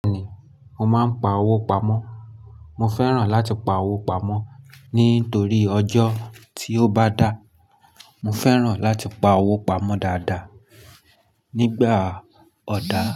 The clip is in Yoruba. Bẹ́ẹ̀ni, mo máa ń pa owó pamọ́. Mo fẹ́ràn láti pa owó pamọ́ nítorí ọjọ́ tí ó bá dáa. Mo fẹ́ràn láti pa owó pamọ́ dáadáa nígbà ọ̀dà.